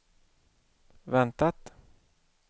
väntat